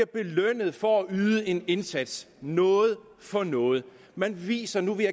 belønnet for at yde en indsats noget for noget man viser at nu vil